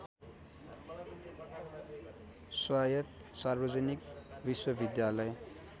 स्वायत्त सार्वजनिक विश्वविद्यालय